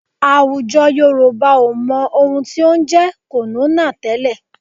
Àwùjọ Yorùbá ò mọ ohun tí ó ń jẹ́ kònónà tẹ́lẹ̀